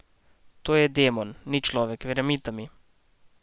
To je demon, ni človek, verjemita mi.